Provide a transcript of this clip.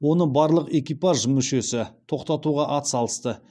оны барлық экипаж мүшесі тоқтатуға ат салысты